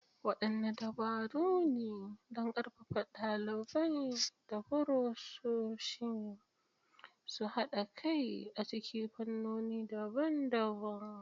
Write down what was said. Waɗanne dabaru ne don ƙarfafa ɗalibai da furofesoshi su haɗa kai a cikin fannoni daban-daban?